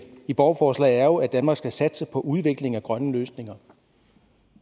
i borgerforslaget er jo at danmark skal satse på udvikling af grønne løsninger